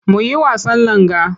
Mu yi wasan langa.